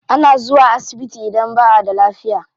Ana zuwa asibiti idan ba a da lafiya.